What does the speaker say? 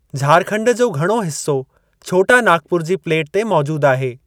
झारखंड जो घणो हिस्सो छोटा नागपुर जी प्लेट ते मौजूद आहे।